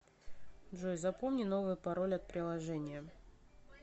джой запомни новый пароль от приложения